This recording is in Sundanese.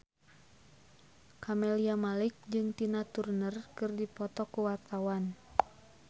Camelia Malik jeung Tina Turner keur dipoto ku wartawan